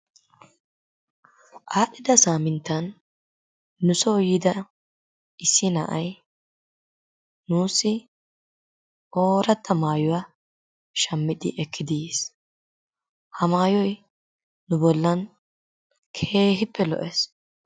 Aadhdhida saaminttan nusoo yiida issi na'ay nuussi ooratta maayuwa shammidi ekkidi yiis. Ha maayoy nu bollan keehippe lo'ees.